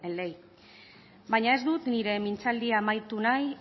ley baina ez dut nire mintzaldia amaitu nahi